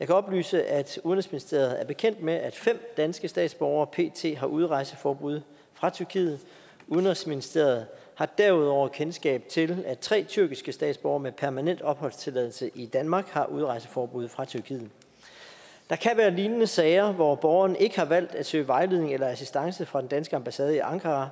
jeg kan oplyse at udenrigsministeriet er bekendt med at fem danske statsborgere pt har udrejseforbud fra tyrkiet udenrigsministeriet har derudover kendskab til at tre tyrkiske statsborgere med permanent opholdstilladelse i danmark har udrejseforbud fra tyrkiet der kan være lignende sager hvor borgeren ikke har valgt at søge vejledning eller assistance fra den danske ambassade i ankara